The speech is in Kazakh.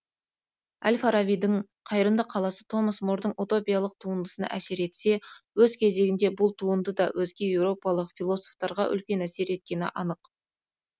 әл фарабидің қайырымды қаласы томас мордың утопиялық туындысына әсер етсе өз кезегінде бұл туынды да өзге еуропалық философтарға үлкен әсер еткені анық